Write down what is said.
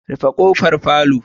Rufe kofar palour